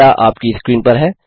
data आपकी screen पर है